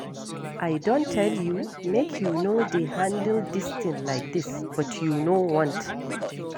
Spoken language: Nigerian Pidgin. I don tell you make you no dey handle dis thing like dis but you know want.